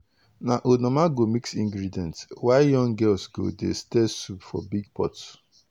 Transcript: na old mama go mix ingredient while young girls go dey stir soup for big big pot.